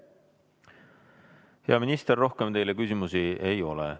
Hea minister, rohkem teile küsimusi ei ole.